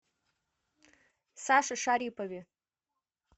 саше шарипове